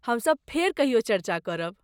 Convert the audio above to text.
हमसभ फेर कहियो चर्चा करब।